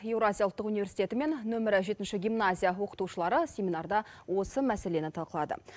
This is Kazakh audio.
евразия ұлттық университеті мен нөмірі жетінші гимназия оқытушылары семинарда осы мәселені талқылады